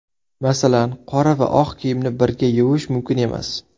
Masalan, qora va oq kiyimni birga yuvish mumkin emas.